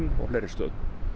og fleiri stöðum